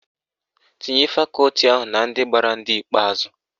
Tinye fakọti ahụ na ndị gbara ndị ikpeazụ